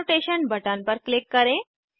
annotation button पर click करें